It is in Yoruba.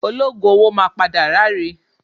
Ológùn owó máa padà ráre